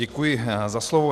Děkuji za slovo.